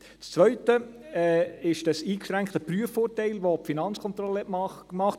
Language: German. Das Zweite ist dieses eingeschränkte Prüfurteil, das die Finanzkontrolle gemacht hat.